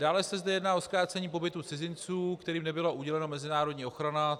Dále se zde jedná o zkrácení pobytu cizinců, kterým nebyla udělena mezinárodní ochrana.